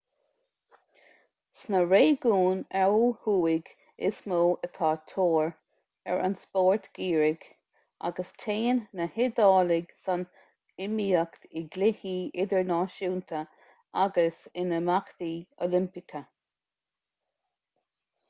sna réigiúin ó thuaidh is mó atá tóir ar an spórt geimhridh agus téann na hiodálaigh san iomaíocht i gcluichí idirnáisiúnta agus in imeachtaí oilimpeacha